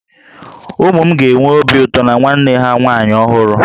Ụmụ m ga-enwe obi ụtọ na nwanne ha nwaanyị ọhụrụ